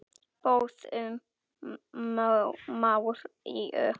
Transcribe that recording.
Boðun Maríu.